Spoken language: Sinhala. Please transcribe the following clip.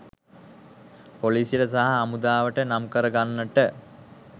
පොලිසියට සහ හමුදාවට නම් කර ගන්නට